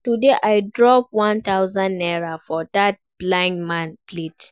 Today I drop one thousand naira for dat blind man plate